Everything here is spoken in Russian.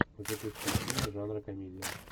запусти фильмы жанра комедия